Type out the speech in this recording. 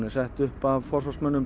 sett upp af forsvarsmönnum